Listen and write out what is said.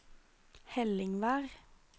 Helligvær